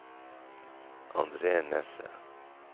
Andre Nesse